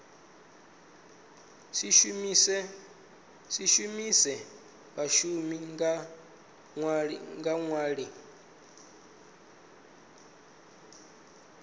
si shumise vhashumi nga nḓila